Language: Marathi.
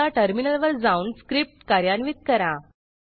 आता टर्मिनलवर जाऊन स्क्रिप्ट कार्यान्वित करा